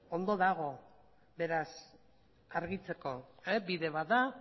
ondo dago beraz argitzeko bide bat da